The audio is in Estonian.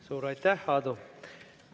Suur aitäh, Aadu!